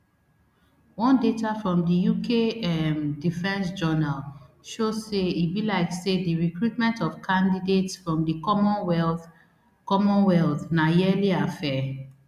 one data from di uk um defence journal show say e be like say di recruitment of candidates from di commonwealth commonwealth na yearly affair